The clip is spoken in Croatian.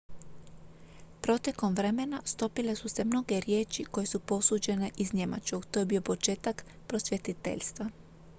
protekom vremena stopile su se mnoge riječi koje su posuđene iz njemačkog to je bio početak prosvjetiteljstva